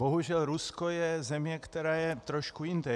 Bohužel Rusko je země, která je trošku jinde.